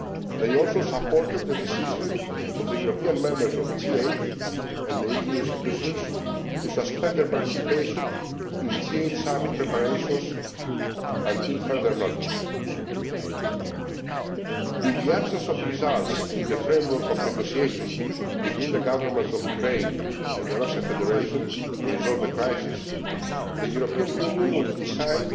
They also supported the decision of the European Members of the G8 and the EU institutions to suspend their participation in G8 Summit preparations until further notice. In the absence of results in the framework of negotiations between the Governments of Ukraine and the Russian Federation to resolve the crisis, the European Union will